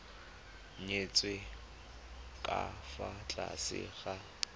nyetswe ka fa tlase ga